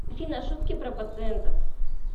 афина шутки про пациентов